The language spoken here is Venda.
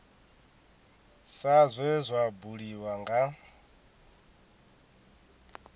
sa zwe zwa buliwa nga